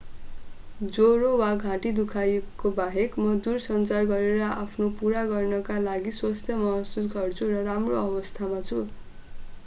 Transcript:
ज्वरो र घाँटी दुखाइका बाहेक म दूरसञ्चार गरेर आफ्नो काम पूरा गर्नका लागि स्वस्थ महसुस गर्छु र राम्रो अवस्थामा छु